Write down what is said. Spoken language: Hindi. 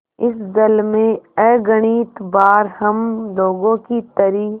इस जल में अगणित बार हम लोगों की तरी